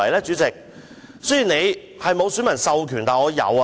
主席，雖然你沒有選民授權，但我有。